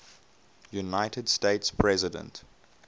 united states president